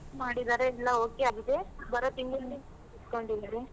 ಮಾಡಿದಾರೆ ಎಲ್ಲ okay ಆಗಿದೆ, ಬರೋ ತಿಂಗ್ಳಲ್ಲಿ ಇಟ್ಕೊಂಡಿದಾರೆ.